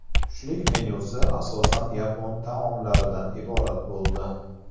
Tushlik menyusi asosan yapon taomlaridan iborat bo‘ldi.